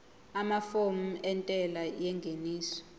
amafomu entela yengeniso